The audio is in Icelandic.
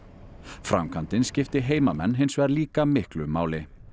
framkvæmdin skipti heimamenn hins vegar líka miklu máli